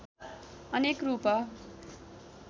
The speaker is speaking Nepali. अनेक रूप